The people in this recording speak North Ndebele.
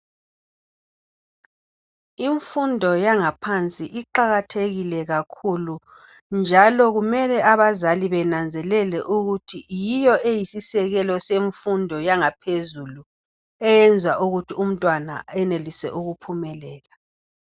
Imfundo yangaphansi iqakathekile kakhulu njalo kumele abazali benanzelele ukuthi yiyo eyisisekelo semfundo yangaphezulu, eyenza ukuthi umntwana enelise ukuphumelela.